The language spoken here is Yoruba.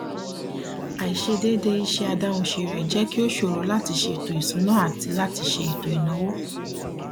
àìṣedédé iṣẹ adáhunṣe rẹ jẹ kí ó ṣòro láti ṣètò isúná àti láti ṣe ètò ìnáwó